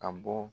Ka bɔ